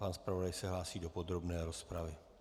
Pan zpravodaj se hlásí do podrobné rozpravy.